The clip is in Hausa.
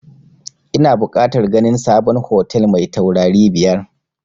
Ina bukatar ganin sabon hotel mai taurari biyar